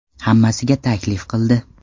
Hammasiga taklif qildi.